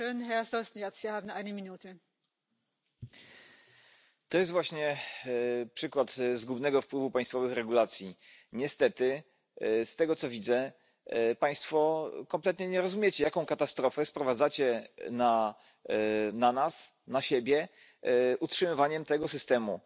a esta ansiedad y a este temor la única respuesta puede ser la seguridad, las garantías y la protección de nuestro sistema público de pensiones un sistema bien dotado, con garantías, que asegure que las prestaciones van aumentando al mismo